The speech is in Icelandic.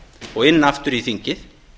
og inn aftur í þingið